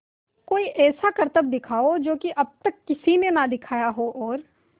कोई ऐसा करतब दिखाओ कि जो अब तक किसी ने ना दिखाया हो और